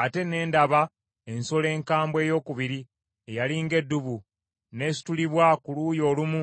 “Ate ne ndaba ensolo enkambwe eyookubiri, eyali ng’eddubu. N’esitulibwa ku luuyi olumu